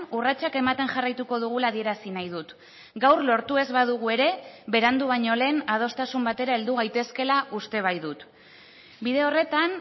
urratsak ematen jarraituko dugula adierazi nahi dut gaur lortu ez badugu ere berandu baino lehen adostasun batera heldu gaitezkeela uste baitut bide horretan